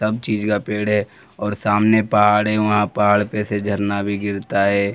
सब चीज का पेड़ है और सामने पहाड़ है वहाँ पहाड़ पे से झरना भी गिरता है।